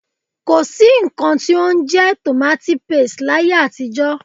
Ko sí nnkan tí ó ń jẹ́ tomati paste láyé àtijó.